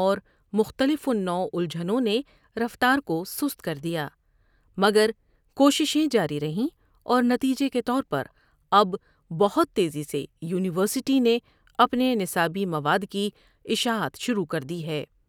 اورمختلف اُلجھنوں نے رفتارکوست کردیا۔ مگرکوششیں جاری رہیں اور نتیجے کے طور پراب بہت تیزی سے یونیورسٹی نے ا پنے نصابی مواد کی اشاعت شروع کردی ہے۔